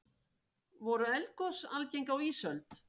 voru eldgos algeng á ísöld